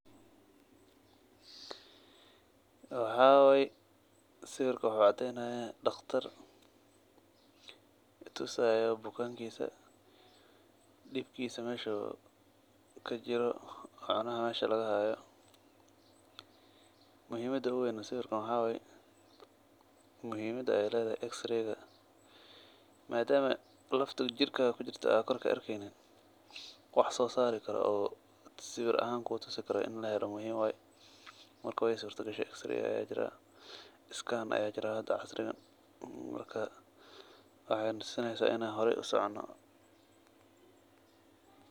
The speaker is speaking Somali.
Sawirka wuxu cadeynaya daqtar tusayo bukanka dibkisa ,meshu kajiro macnaha mesha lagahayo, muhiim uween sawirkana waxa waye muhiimada ey ledahay x-ray madama lafta jirkaga kujirta ad koor kaarkeynin wax sosari karo oo sawir ahaan kutusi karo wa ini lahela marka wey surtagashay x-ray aya jira scan aya jira oo hada casriga marka wexey tusini in an horey usocono.